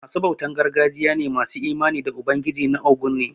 Ma su bautan gargajiya ne masu imani da ubangiji na óguñ ne.